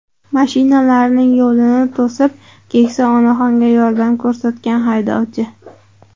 Mashinalarning yo‘lini to‘sib, keksa onaxonga yordam ko‘rsatgan haydovchi.